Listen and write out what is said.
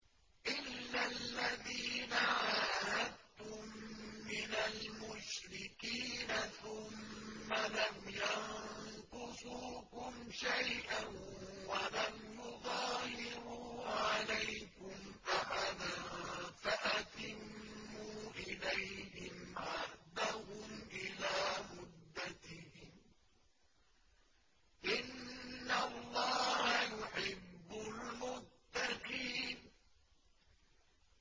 إِلَّا الَّذِينَ عَاهَدتُّم مِّنَ الْمُشْرِكِينَ ثُمَّ لَمْ يَنقُصُوكُمْ شَيْئًا وَلَمْ يُظَاهِرُوا عَلَيْكُمْ أَحَدًا فَأَتِمُّوا إِلَيْهِمْ عَهْدَهُمْ إِلَىٰ مُدَّتِهِمْ ۚ إِنَّ اللَّهَ يُحِبُّ الْمُتَّقِينَ